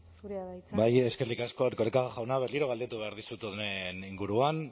zurea da hitza bai eskerrik asko erkoreka jauna berriro galdetu behar dizut honen inguruan